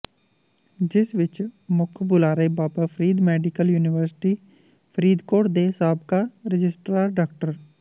ਜਿਸ ਵਿਚ ਮੁੱਖ ਬੁਲਾਰੇ ਬਾਬਾ ਫਰੀਦ ਮੈਡੀਕਲ ਯੂਨੀਵਰਸਿਟੀ ਫਰੀਦਕੋਟ ਦੇ ਸਾਬਕਾ ਰਜਿਸਟਰਾਰ ਡਾ